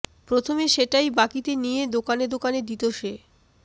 প্রথমে সেটাই বাকিতে নিয়ে দোকানে দোকানে দিত সে